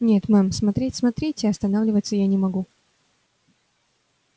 нет мэм смотреть смотрите а останавливаться я не могу